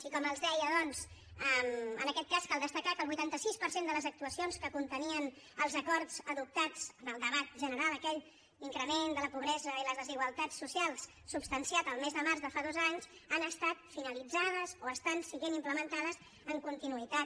i com els deia doncs en aquest cas cal destacar que el vuitanta sis per cent de les actuacions que contenien els acords adoptats en el debat general aquell d’increment de la pobresa i les desigualtats socials substanciat el mes de març de fa dos anys han estat finalitzades o estan sent implementades en continuïtat